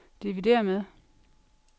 dividér med